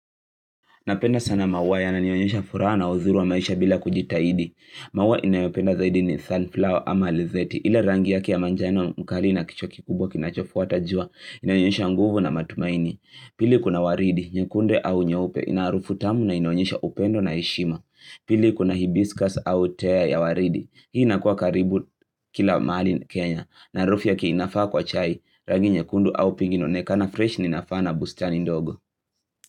Napenda sana maua yananionyesha furaha na uzuri wa maisha bila kujitahidi. Maua ninayopenda zaidi ni sunflower ama lizeti. Ile rangi yaki ya manjano mkali na kichwa kikubwa kinacho fuata jua. Inanionyesha nguvu na matumaini. Pili kuna waridi, nyekundi au nyaupe. Inaharufu tamu na inaonyesha upendo na heshima. Pili kuna hibiscus au tea ya waridi. Hii nakuwa karibu kila mahali Kenya. Na harufu yake inafaa kwa chai. Rangi nyekundu au pink na inaonekana fresh inafaana bustani ndogo.